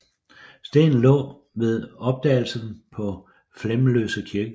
Stenen lå ved opdagelsen på Flemløse kirkegård